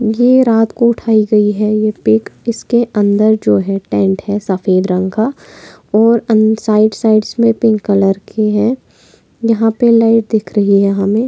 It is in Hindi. यह रात को उठाई गई है यह पीक इसके अंदेर जो है टेंट है सफेद रंग का और साइड साइड्स मै पिंक कलर के है यहाँ पर नहीं दिख रही हमे।